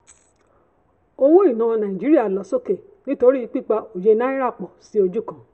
owó iná nàìjíríà lọ sókè nítorí pípa òye náírà pò sí ojú kan.